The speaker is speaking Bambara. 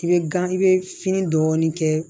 I bɛ gan i bɛ fini dɔɔnin kɛ